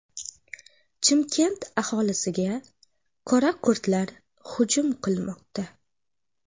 Chimkent aholisiga qoraqurtlar hujum qilmoqda.